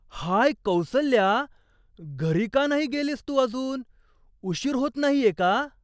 हाय कौसल्या, घरी का नाही गेलीस तू अजून? उशीर होत नाहीये का?